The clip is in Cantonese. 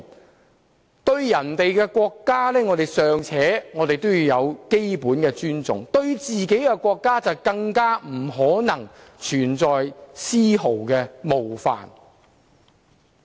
我們對別人的國家尚且要有基本的尊重，對自己的國家就更不能存在絲毫冒犯。